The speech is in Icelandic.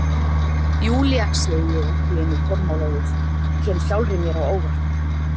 Júlía, segi ég allt í einu formálalaust, kem sjálfri mér á óvart.